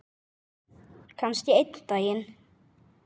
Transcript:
Kannski einn daginn.